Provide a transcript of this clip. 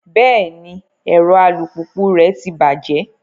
Bẹẹni, ẹrọ alupupu rẹ tí bajẹ